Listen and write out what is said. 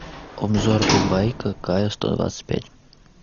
обзор питбайка кайо сто двадцать пять